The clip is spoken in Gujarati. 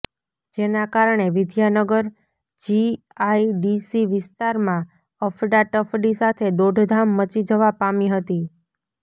જેના કારણે વિદ્યાનગર જીઆઇડીસી વિસ્તારમાં અફડાતફડી સાથે દોડધામ મચી જવા પામી હતી